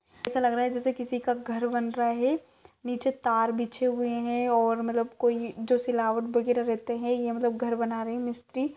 ऐसा लग रहा है जैसे किसी का घर बन रहा है नीचे तार बिछे हुए हैं और मतलब कोई जो सिलावट रहते हैं ये घर बना रहे है मिस्त्री।